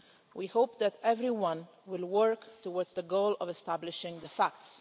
We hope that everyone will work towards the goal of establishing the facts.